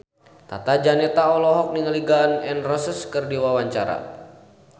Tata Janeta olohok ningali Gun N Roses keur diwawancara